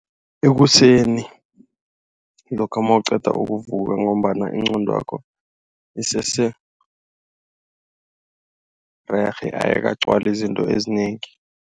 Ekuseni lokha nawuqeda ukuvuvuka ngombana ingqondwakho isesererhe awukagcwali izinto ezinengi.